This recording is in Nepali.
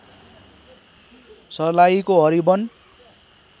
सर्लाहीको हरिवन